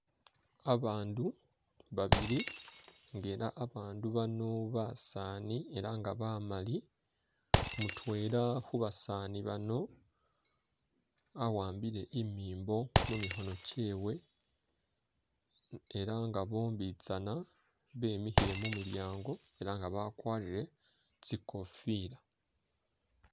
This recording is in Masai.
Abandu babili nga ela abandu bano basaani ela nga baamali, mutwela khu basaani bano awambile imimbo mumikhono kyewe ela nga bombitsana bemikhile mumulyango ela nga bakwarire tsikofila.